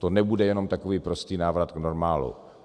To nebude jenom takový prostý návrat k normálu.